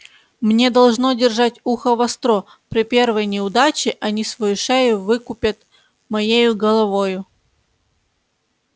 мне должно держать ухо востро при первой неудаче они свою шею выкупят моею головою